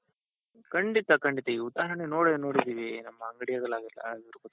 ಖಂಡಿತ ಖಂಡಿತ ಈಗ ಉದಾರಣೆ ನೋಡೇ ನೋಡಿದ್ದೀವಿ ನಮ್ ಅಂಗಡಿ